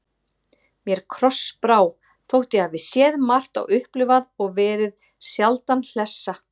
Mér krossbrá, þótt ég hafi séð margt og upplifað og verði sjaldan hlessa.